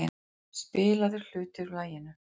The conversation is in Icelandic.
Spilaður hluti úr laginu.